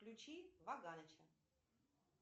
включи ваганыча